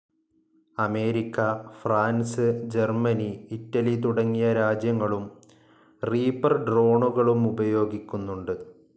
America, France, Germany. Italy തുടങ്ങിയ രാജ്യങ്ങളും Reaper ഡ്രോണുകളുപയോഗിക്കുന്നുണ്ട്.